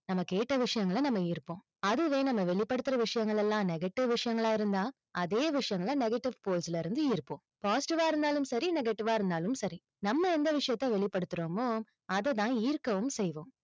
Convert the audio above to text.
நம்ம கேட்ட விஷயங்கள நம்ம ஈர்ப்போம். அதுவே நம்ம வெளிப்படுத்துற விஷயங்கள் எல்லாம் negative விஷயங்களாஇருந்தா, அதே விஷயங்கள negative force ல இருந்து ஈர்ப்போம் positive வா இருந்தாலும் சரி negative வா இருந்தாலும் சரி, நம்ம எந்த விஷயத்தை வெளிப்படுத்தறோமோ, அதை தான் ஈர்க்கவும் செய்வோம்.